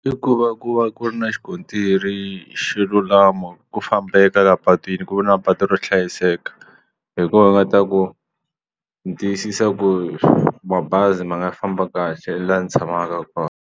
I ku va ku va ku ri na xikontiri xo lulama ku fambeka la patwini ku na patu ro hlayiseka hi koho hi nga ta ku ni tiyisisa ku mabazi ma nga famba kahle laha ndzi tshamaka kona.